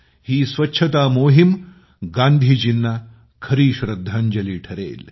ही स्वच्छता मोहीम गांधीजींना खरी श्रद्धांजली ठरेल